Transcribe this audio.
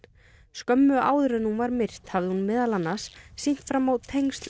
skömmu áður en hún var myrt hafði hún meðal annars sýnt fram á tengsl